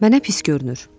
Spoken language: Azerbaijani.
Mənə pis görünür.